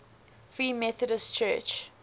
free methodist church